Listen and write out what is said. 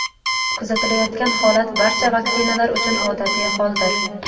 Kuzatilayotgan holat barcha vaksinalar uchun odatiy holdir.